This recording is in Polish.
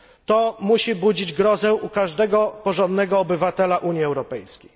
To musi budzić grozę u każdego porządnego obywatela Unii Europejskiej.